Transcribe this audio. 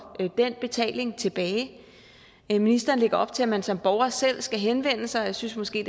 den betaling tilbage ministeren lægger op til at man som borger selv skal henvende sig jeg synes måske